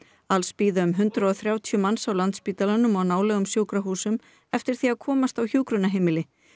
alls bíða um hundrað og þrjátíu manns á Landspítalanum og nálægum sjúkrahúsum eftir því að komast á hjúkrunarheimili